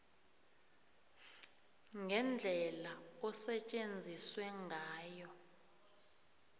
ngendlela osetjenziswe ngayo